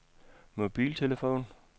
mobiltelefon